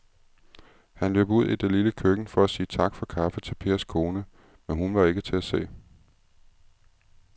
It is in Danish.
Han løb ud i det lille køkken for at sige tak for kaffe til Pers kone, men hun var ikke til at se.